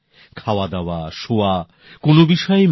নিজের দাদুর মনের এই কষ্ট শ্রীঅরবিন্দের শিশুমনকেও প্রভাবিত করেছিল